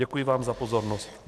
Děkuji vám za pozornost.